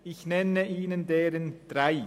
Ich nenne Ihnen de- ren drei.